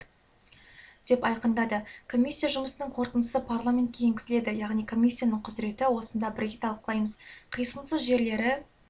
деп айқындады комиссия жұмысының қорытындысы парламентке енгізіледі яғни комиссияның құзыреті осында бірге талқылаймыз қисынсыз жерлері